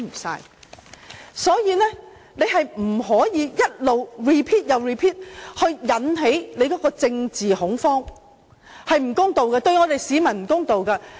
所以，他們不能一直 repeat， 引起政治恐慌，這對市民是不公道的。